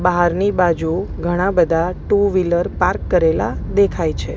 બાહરની બાજુ ઘણા બધા ટુ વ્હીલર પાર્ક કરેલા દેખાય છે.